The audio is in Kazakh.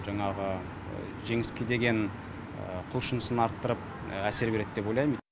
жаңағы жеңіске деген құлшынысын арттырып әсер береді деп ойлаймын